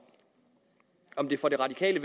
om det for de radikale